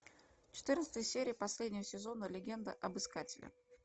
четырнадцатая серия последнего сезона легенда об искателе